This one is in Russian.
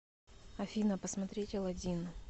афина посмотреть алладин